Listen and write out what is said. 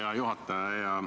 Hea juhataja!